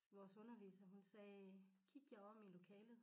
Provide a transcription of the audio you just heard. Vores underviser hun sagde kig jer om i lokalet